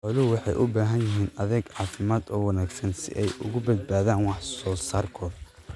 Xooluhu waxay u baahan yihiin adeeg caafimaad oo wanaagsan si ay uga badbaadaan wax soo saarkooda.